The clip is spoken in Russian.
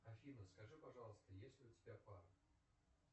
афина скажи пожалуйста есть ли у тебя пара